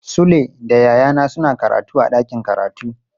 Sule da yayana suna karatu a dakin karatu.